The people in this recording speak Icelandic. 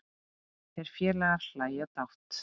Þeir félagar hlæja dátt.